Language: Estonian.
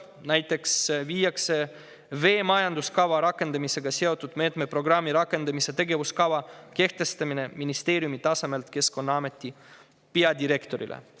Näiteks viiakse veemajanduskava rakendamisega seotud meetmeprogrammi rakendamise tegevuskava kehtestamine ministeeriumi tasemelt Keskkonnaameti peadirektorile.